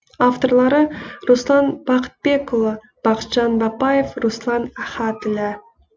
авторлары руслан бақытбекұлы бақытжан бапаев руслан ахатіллә